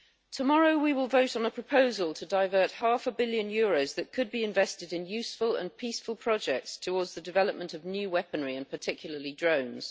Tomorrow we will vote on a proposal to divert half a billion euros, that could be invested in useful and peaceful projects, towards the development of new weaponry, and particularly drones.